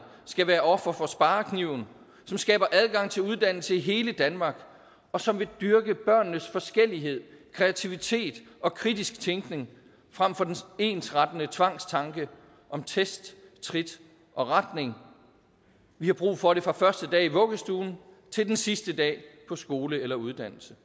skal være offer for sparekniven som skaber adgang til uddannelse i hele danmark og som vil dyrke børnenes forskellighed kreativitet og kritiske tænkning frem for den ensrettende tvangstanke om test trit og retning vi har brug for det fra første dag i vuggestuen til den sidste dag på skole eller uddannelse